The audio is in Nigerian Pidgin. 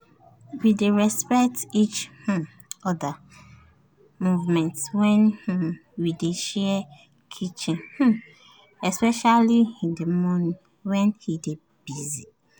we dey respect each um other movement when um we dey share kitchen um especially in the morning when e dey busy